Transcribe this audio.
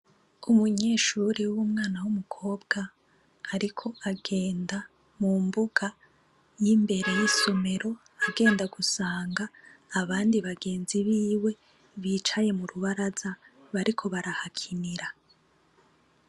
Umunyeshuri w'umwana w'umukobwa, ariko agenda mu mbuga y'imbere y'isomero agenda gusanga abandi bagenzi biwe bicaye mu rubaraza bariko barahakinira.